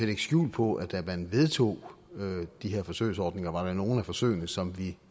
lægge skjul på at da man vedtog de her forsøgsordninger var der nogle af forsøgene som vi